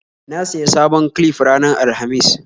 Na siya sabon clif ranar Alhamis